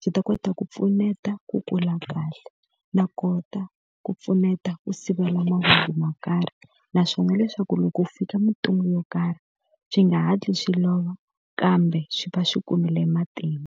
swi ta kota ku pfuneta ku kula kahle no ku kota ku pfuneta ku sivela mavabyi mo karhi. Naswona leswaku loko ku fika mintungu yo karhi, swi nga hatli swi lova kambe swi va swi kumile matimba.